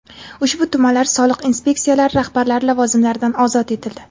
Ushbu tumanlar soliq inspeksiyalari rahbarlari lavozimlaridan ozod etildi.